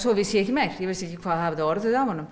vissi ekki meir vissi ekki hvað hafði orðið af honum